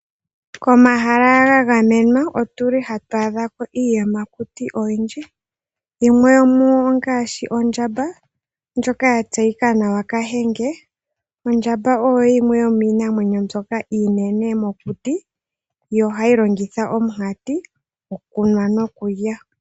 Komahala ga gamenwa otu li hatu adha ko iiyamakuti oyindji, yimwe yomuyo ongaashi ondjamba ndjoka ya tseyika nawa Kahenge. Ondjamba oyo yimwe yomiinamwenyo mbyoka iinene mokuti, yo ohayi longitha omunkati okulya nokunwa.